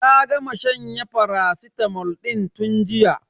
Ta gama shanyen faracitamol din tun jiya.